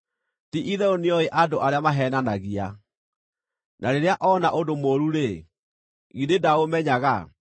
Ti-itherũ nĩoĩ andũ arĩa maheenanagia; na rĩrĩa oona ũndũ mũũru-rĩ, githĩ ndaũmenyaga?